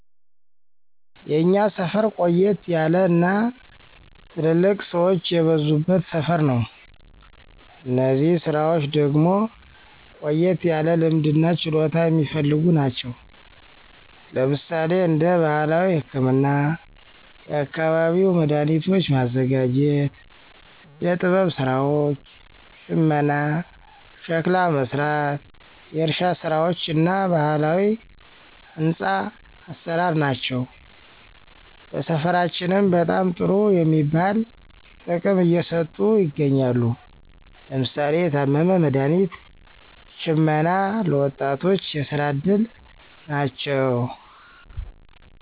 የእኛ ሰፈር ቆየት ያለ እና ትልልቅ ሰወች የበዙበት ሰፈር ነው። እነዚህ ስራወች ደግሞ ቆየት ያለ ልምድ እና ችሎታ የሚፈልጉ ናቸው። ለምሳሌ እንደ ባህላዊ ህክምና፣ የአካባቢው መዳኃኒቶች ማዘጋጀት፣ ዕደ ጥበብ ስራወች፣ ሽመና፣ ሸክላ መስራት፣ የእርሻ ስራወች እና ባህላዊ ህንፆ አሰራር ናቸው። ለሰፈራችንም በጣም ጥሩ የሚባል ጥቅም እየሰጡ ይገኛሉ። ለምሳሌ ለታመመ መድሀኒት ሽመና ለ ወጣቶች የስራ እድል ናቸው።